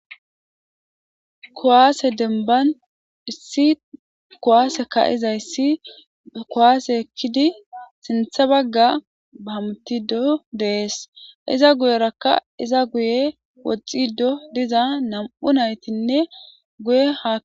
kowaase denban issi kowaase ka7izayssi kowaase ekkidi sintha bagga baamtido dees iza guyerakka iza guye woxxido diza nam7u naytinne guye hak